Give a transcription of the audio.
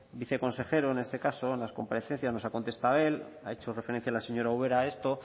viceconsejero en este caso en las comparecencias nos ha contestado él ha hecho referencia la señora ubera a esto